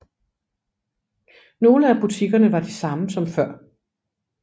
Nogle af butikkerne var de samme som før